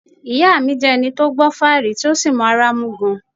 Ìyá mi jẹ ẹni tó gbọ́ fáàrí tí ó sì mọ́ ara mú gan-an